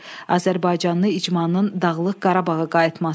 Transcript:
Azərbaycanlı icmanın Dağlıq Qarabağa qayıtması.